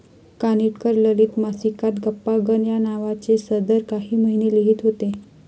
कानिटकर ललित मासिकात गप्पांगण या नावाचे सदर काही महिने लिहीत होते.